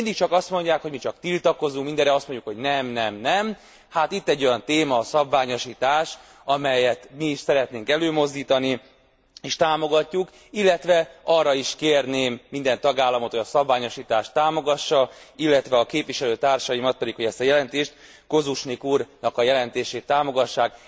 De mindig csak azt mondják, hogy mi mindig csak tiltakozunk, mindenre azt mondjuk, hogy nem, nem, nem, hát itt egy olyan téma, a szabványosítás, amelyet mi is szeretnénk előmozdítani és támogatni, illetve arra is kérnék minden tagállamot, hogy a szabványosítást támogassa, illetve a képviselőtársaimat, pedig hogy ezt a jelentést, Kožušník úrnak a jelentését támogassák.